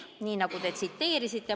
" Nii, nagu te tsiteerisite.